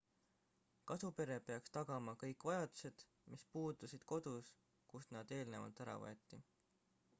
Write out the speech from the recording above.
kasupere peaks tagama kõik vajadused mis puudusid kodus kust nad eelnevalt ära võeti